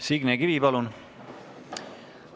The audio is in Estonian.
Signe Kivi, palun!